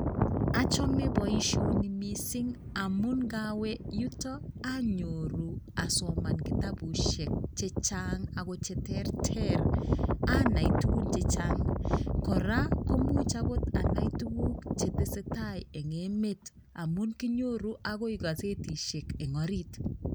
Achome boisioni mising amun ngawe yuto anyoru asoman kitabushek che chang ako che terter anai tugun chechang, kora komuch agot anai tuguk chetesetai eng emet amun kinyoru agoi kazetishek eng orit.